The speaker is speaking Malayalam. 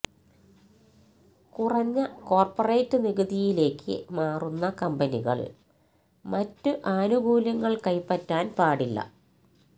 കുറഞ്ഞ കോര്പറേറ്റ് നികുതിയിലേക്ക് മാറുന്ന കമ്പനികള് മറ്റ് ആനുകൂല്യങ്ങള് കൈപ്പറ്റാന് പാടില്ല